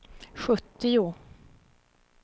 sjuttio